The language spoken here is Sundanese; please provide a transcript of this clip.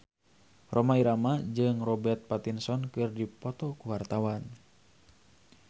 Rhoma Irama jeung Robert Pattinson keur dipoto ku wartawan